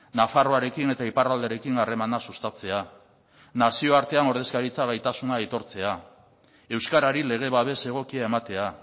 nafarroarekin eta iparraldearekin harremana sustatzea nazioartean ordezkaritza gaitasuna aitortzea euskarari lege babes egokia ematea